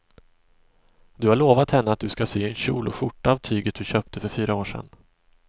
Du har lovat henne att du ska sy en kjol och skjorta av tyget du köpte för fyra år sedan.